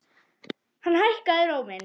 Hann hækkaði róminn.